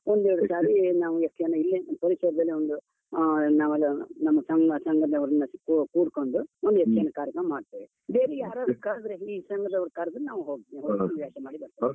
ಒಂದೆರಡು ಸಾರಿ ನಾವು ಯಕ್ಷಗಾನ ಇಲ್ಲೆ ಪರಿಸರದಲ್ಲಿ ಒಂದು ಆ ನಾವೆಲ್ಲಾ ನಮ್ಮ ಸಂಘ, ಸಂಘದವರೆಲ್ಲಾ ಕೂಡ್ಕೊಂಡು ಒಂದ್ ಯಕ್ಷಗಾನ ಕಾರ್ಯಕ್ರಮ ಮಾಡ್ತೇವೆ. ಬೇರೆ ಯಾರಾದ್ರು ಕರ್ದ್ರೆ, ಈ ಸಂಘದವರು ಕರ್ದ್ರೆ ನಾವು ಹೋಗ್ತೇವೆ ಹವ್ಯಾಸ ಮಾಡಿ ಬರ್ತೇವೆ.